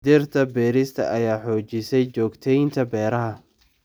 Dhirta beerista ayaa xoojisay joogteynta beeraha.